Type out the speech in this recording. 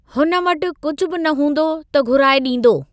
हुन वटि कुझु न बि हूंदो त घुराए डीं॒दो।